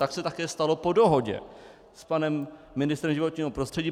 Tak se také stalo po dohodě s panem ministrem životního prostředí.